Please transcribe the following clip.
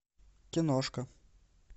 киношка